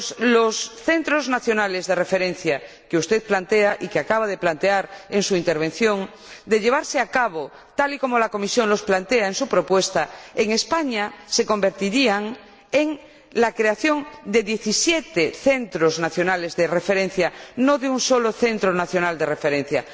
Los centros nacionales de referencia que usted plantea y que acaba de plantear en su intervención, de llevarse a cabo tal y como la Comisión los plantea en su propuesta, se convertirían, en España, en la creación de diecisiete centros nacionales de referencia, no de un solo centro nacional de referencia.